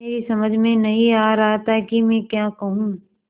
मेरी समझ में नहीं आ रहा था कि मैं क्या कहूँ